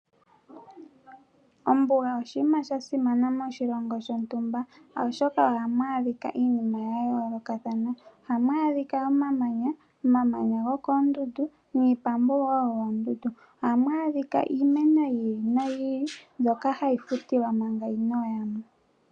Ombuga oshinima sha simana moshilongo shontumba, oshoka ohamu adhika iinima ya yoloka thana ohamu adhika omamanya, omamanya gokoondundu niipambu wo yoondundu ohamu adhika iimeno yi ili no yi ili mbyoka hayi futilwa manga inoya mo.